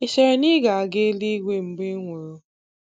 Ị chere na ị na-aga eluigwe mgbe ị nwụrụ?